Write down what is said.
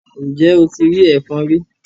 Ǹjẹ́ o ti rí ẹfọ̀n rí?